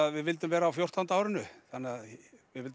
við vildum vera á fjórtán árinu vildum